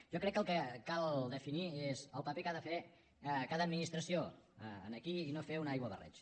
jo crec que el que cal definir és el paper que ha de fer cada administració aquí i no fer un aiguabarreig